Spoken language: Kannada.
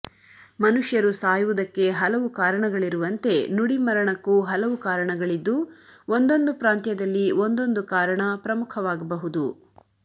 ಮನುಷ್ಯರು ಸಾಯುವುದಕ್ಕೆ ಹಲವು ಕಾರಣಗಳಿರುವಂತೆ ನುಡಿಮರಣಕ್ಕೂ ಹಲವು ಕಾರಣಗಳಿದ್ದು ಒಂದೊಂದು ಪ್ರಾಂತ್ಯದಲ್ಲಿ ಒಂದೊಂದು ಕಾರಣ ಪ್ರಮುಖವಾಗಬಹುದು